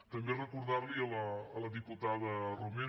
també recordar li a la diputada romero que